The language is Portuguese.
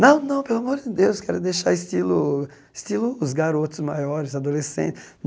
Não, não, pelo amor de Deus, quero deixar estilo estilo os garotos maiores,